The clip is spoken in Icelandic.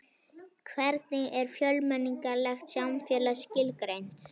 Hvernig er fjölmenningarlegt samfélag skilgreint?